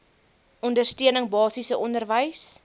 ondersteuning basiese onderwys